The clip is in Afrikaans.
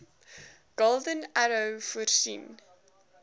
golden arrow voorsien